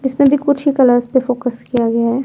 इसमें भी कुछ हि कलर्स पे फोकस किया गया--